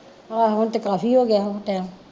ਆਹੋ ਹੁਣ ਤੇ ਕਾਫੀ ਹੋ ਗਿਆ ਹੋਣਾ ਟੈਮ